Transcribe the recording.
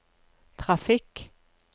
trafikk